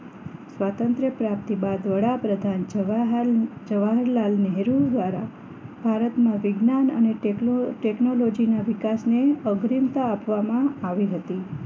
સ્વાતંત્ર પ્રાપ્તિ બાદ વડાપ્રધાન જવાહર જવાહરલાલ નહેરુ દ્વારા ભારતમાં વિજ્ઞાન અને ટેકનો ટેકનોલોજીના વિકાસને અગ્રિમતા આપવામાં આવી હતી